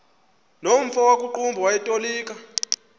nomfo wakuqumbu owayetolika